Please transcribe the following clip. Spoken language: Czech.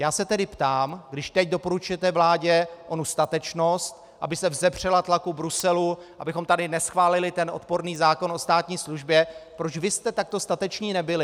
Já se tedy ptám, když teď doporučujete vládě onu statečnost, aby se vzepřela tlaku Bruselu, abychom tady neschválili ten odporný zákon o státní službě, proč vy jste takto stateční nebyli.